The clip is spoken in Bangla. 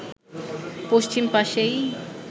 পশ্চিম পাশেই